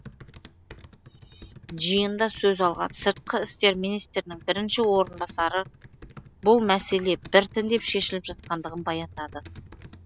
жиында сөз алған сыртқы істер министрінің бірінші орынбасары бұл мәселе біртіндеп шешіліп жатқандығын баяндады